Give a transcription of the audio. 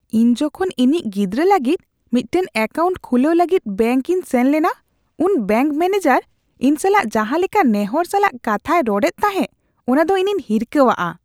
ᱤᱧ ᱡᱚᱠᱷᱚᱱ ᱤᱧᱤᱡ ᱜᱤᱫᱽᱨᱟᱹ ᱞᱟᱹᱜᱤᱫ ᱢᱤᱫᱴᱟᱝ ᱮᱠᱟᱣᱩᱱᱴ ᱠᱷᱩᱞᱟᱹᱣ ᱞᱟᱹᱜᱤᱫ ᱵᱮᱝᱠ ᱤᱧ ᱥᱮᱱ ᱞᱮᱱᱟ, ᱩᱱ ᱵᱮᱝᱠ ᱢᱮᱹᱱᱮᱡᱟᱨ ᱤᱧ ᱥᱟᱞᱟᱜ ᱡᱟᱦᱟᱸ ᱞᱮᱠᱟ ᱱᱮᱦᱚᱨ ᱥᱟᱞᱟᱜ ᱠᱟᱛᱷᱟᱭ ᱨᱚᱲᱮᱫ ᱛᱟᱦᱮᱸ ᱚᱱᱟ ᱫᱚ ᱤᱧᱤᱧ ᱦᱤᱨᱠᱟᱹᱣᱟᱜᱼᱟ ᱾